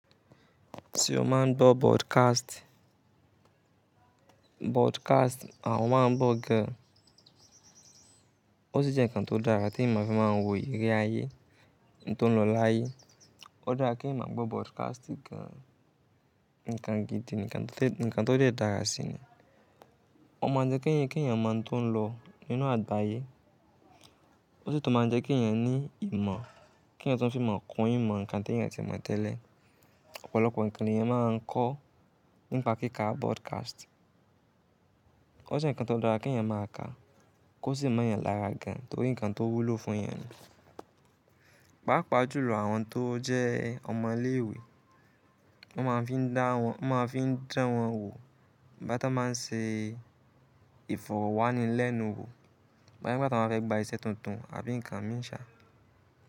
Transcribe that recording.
Ti o ma ń gbọ podcast, podcast à mọ máa ń gbọ gan. O si jẹ́ nǹkan tó dára tí emi fin máa ń wo ìríri ayé, nǹkan tó ń lọ láyé. Ó dára kí eyan maa gbó podcast gan, nǹkan gidi, nǹkan tó déé dara sí ni. O máa jẹ́ kí eyàn máa tó ń lọ nínú àgbáyé. O sì tún máa jẹ́ kí eyàn ní ìmọ̀, kí eyàn tun fi imo kun ìmọ̀ nǹkan tí eyàn ti mọ̀ tẹ́lẹ̀. Ọ̀pọ̀lọpọ̀ nǹkan ni eyàn máa ń kọ́ nípa kíká broadcast. Ó jẹ́ nǹkan tó dáa kí eyàn máa ká, kí ó sì mọ yàn lára gan, torí nǹkan tó wúlò fún eyàn ni. Pàápaá jùlọ àwọn tó jẹ́ ọmọ ilé ìwé, wọ́n máa fi ń dá wọn, wọ́n máa fiń dan wọn wò Igba to n ba ń ṣe ìfọ̀rọ̀wání lẹ́nu wò, boya nígba tí wọ́n fẹ́ gba iṣẹ́ tuntun àbí nǹkan míì sà.